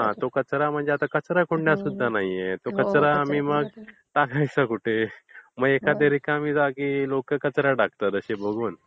हा तो कचरा आणि कचरकुंडया सुद्धा नाहीयेत. तो कचरा आम्ही मग टाकायचा कुठे? मग एखाद्या रिकाम्या जागी लोकं कचरा टाकतात असे बघून.